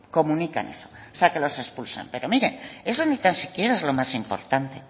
comunican eso o sea que los expulsan pero mire eso ni tan siquiera es lo más importante